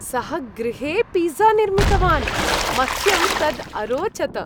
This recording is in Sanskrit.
सः गृहे पिज़्ज़ा निर्मितवान्, मह्यं तद् अरोचत।